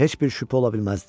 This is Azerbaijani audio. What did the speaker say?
Heç bir şübhə ola bilməzdi.